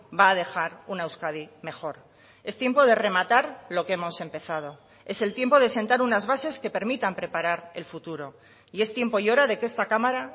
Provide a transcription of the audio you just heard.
va a dejar una euskadi mejor es tiempo de rematar lo que hemos empezado es el tiempo de sentar unas bases que permitan preparar el futuro y es tiempo y hora de que esta cámara